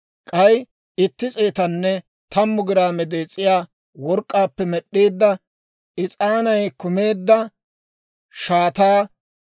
k'ay itti s'eetanne tammu giraame dees'iyaa work'k'aappe med'd'eedda, is'aanay kumeedda shaataa;